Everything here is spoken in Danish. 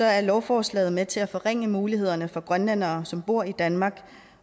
er lovforslaget med til at forringe mulighederne for grønlændere som bor i danmark